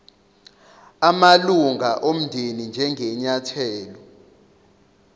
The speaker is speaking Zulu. amalunga omndeni njengenyathelo